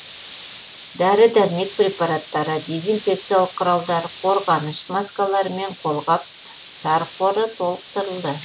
дәрі дәрмек препараттары дезинфекциялық құралдар қорғаныш маскалары мен қолғаптар қоры толықтырылды